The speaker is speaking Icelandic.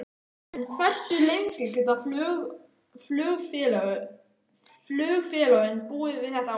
En hversu lengi geta flugfélögin búið við þetta ástand?